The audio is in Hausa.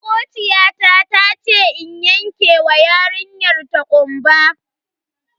Makociyata tace in yanke wa yarinyar ta kumba.